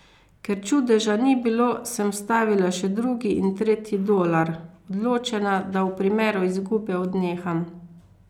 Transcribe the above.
Ker čudeža ni bilo, sem vstavila še drugi in tretji dolar, odločena, da v primeru izgube odneham.